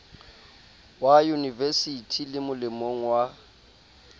wa yunivesithi le molemong wa